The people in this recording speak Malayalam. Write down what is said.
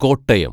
കോട്ടയം